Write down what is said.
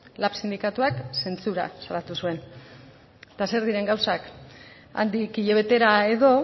lab sindikatuak zentsura salatu zuen eta zer diren gauzak handik hilabetera edo